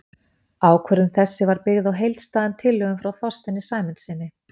Ákvörðun þessi var byggð á heildstæðum tillögum frá Þorsteini Sæmundssyni.